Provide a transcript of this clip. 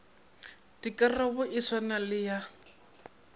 dikarabo e swane le ya